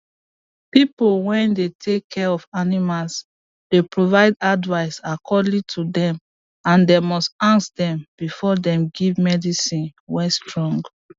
people way they take care of animals dey provide advice according to dem and dem must ask dem before dem give medicine way strong